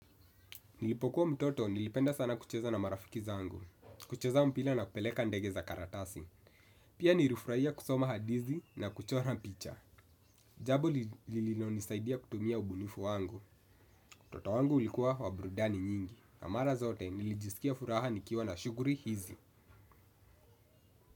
Nilipokuwa mtoto nilipenda sana kucheza na marafiki zangu. Kucheza mpira na kupeleka ndege za karatasi. Pia nilifurahia kusoma hadithi na kuchora picha. Jambo lililonisaidia kutumia ubunifu wangu. Utoto wangu ulikuwa wa burudani nyingi. Na mara zote nilijisikia furaha nikiwa na shughuli hizi.